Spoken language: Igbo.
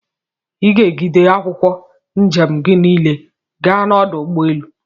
Iga egide akwụkwọ njem gi nile gaa na ọdụ ụgbọelu!!